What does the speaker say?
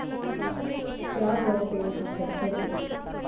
त्यावर ते हसत होते.